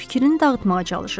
Fikrini dağıtmağa çalışırdı.